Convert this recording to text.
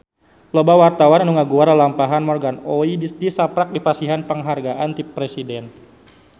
Loba wartawan anu ngaguar lalampahan Morgan Oey tisaprak dipasihan panghargaan ti Presiden